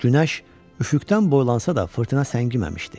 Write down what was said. Günəş üfüqdən boylansa da fırtına səngiməmişdi.